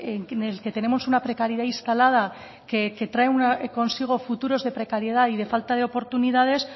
en el que tenemos una precariedad instalada que trae consigo futuros de precariedad y de falta de oportunidades